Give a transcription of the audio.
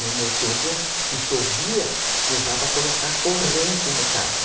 No meu tempo, se chovia, precisava colocar corrente no carro.